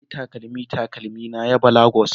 Na sayi takalmin takalmina yaba Lagos